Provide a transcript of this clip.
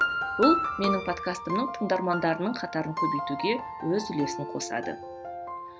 бұл менің подкастымның тыңдармандарының қатарын көбейтуге өз үлесін қосады